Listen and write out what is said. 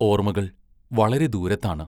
ഓർമ്മകൾ വളരെ ദൂരത്താണ്.